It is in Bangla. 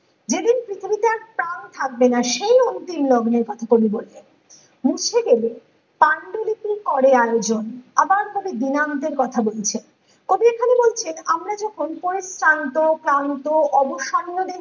যেদিন পৃথিবীতে আর প্রাণ থাকবে না সেই অন্তিম লগ্নের কথা কবি বলছেন মুছে দেবে পাণ্ডুলিপি করে আয়োজন আবার কবি দিনাঙ্কের কথা বলছেন কবি এখানে বলছেন আমরা যখন পরিশ্রান্ত ক্লান্ত অবসম্ভাবে